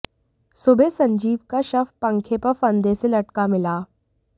सुबह संजीव का शव पंखे पर फंदे से लटका मिला